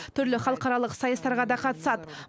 түрлі халықаралық сайыстарға да қатысады